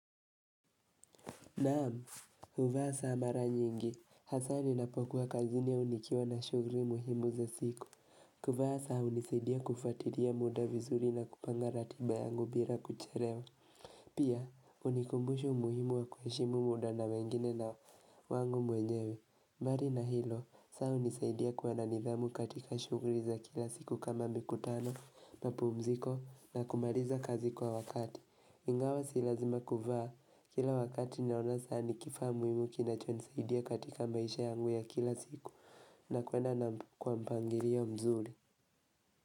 Naam, huvaa saa mara nyingi, hasa ninapokuwa kazini au nikiwa na shughli muhimu za siku, kuvaa saa hunisaidia kufuatilia muda vizuri na kupanga ratiba yangu bila kuchelewa. Pia, hunikumbusha umuhimu wa kuheshimu muda na wengine na wangu mwenyewe. Bali na hilo, saa hunisaidia kuwa na nidhamu katika shughli za kila siku kama mkutano, mapumziko na kumaliza kazi kwa wakati. Ingawa si lazima kuvaa. Kila wakati ninaona saa ni kifaa muhimu kinachonisaidia katika maisha yangu ya kila siku. Na kwenda na kwa mpangilio mzuri.